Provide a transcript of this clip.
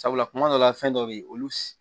Sabula kuma dɔ la fɛn dɔ be yen olu